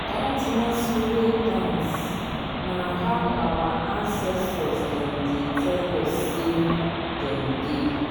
dat masquerade dance na how our ancestor dem dey tell us sey dem dey.